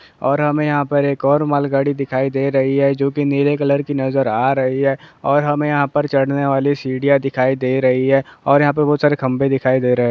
और हमें यहां पर एक और मालगाड़ी दिखाई दे रही है जो कि नीले कलर की नज़र आ रही है और हमें यहां पर चढ़ने वाली सीढियां दिखाई दे रही है और यहां पे बहुत सारे खंबे दिखाई दे रहे है।